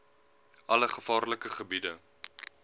alle gevaarlike gebiede